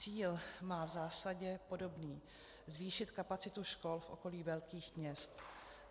Cíl má v zásadě podobný - zvýšit kapacitu škol v okolí velkých měst.